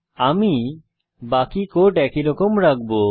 আমি বাকি কোড একইরকম রাখবো